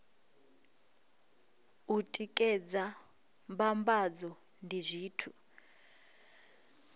u tikedza mbambadzo ndi zwithu